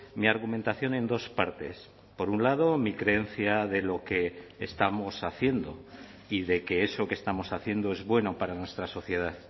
mi argumentación en dos partes por un lado mi creencia de lo que estamos haciendo y de que eso que estamos haciendo es bueno para nuestra sociedad